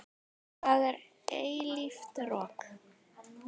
Það er eilíft rok.